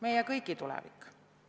Meie kõigi tulevik?